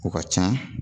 O ka ca